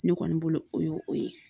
Ne kɔni bolo o ye o ye